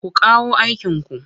Ku kawo aikinku!